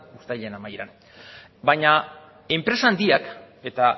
uztailaren amaieran baina enpresa handiak eta